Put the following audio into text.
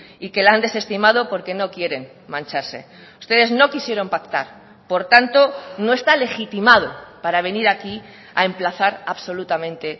y que la han desestimado porque no quieren mancharse ustedes no quisieron pactar por tanto no está legitimado para venir aquí a emplazar absolutamente